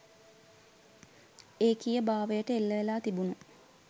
ඒකීයභාවයට එල්ල වෙලා තිබුණු